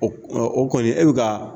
O o kɔni e bi ka